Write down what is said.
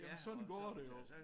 Sådan går det jo